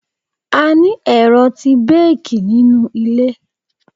A ní ẹ̀rọ tí bẹ́ẹ̀kì nínú ilé.